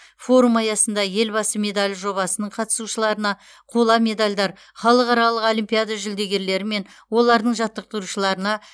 форум аясында елбасы медалі жобасының қатысушыларына қола медальдар халықаралық олимпиада жүлдегерлері мен олардың жаттықтырушыларына